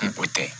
Ni o tɛ